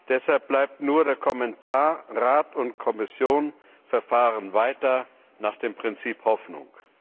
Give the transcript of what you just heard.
Deshalb bleibt nur der Kommentar Rat und Kommission verfahren weiter nach dem Prinzip Hoffnung.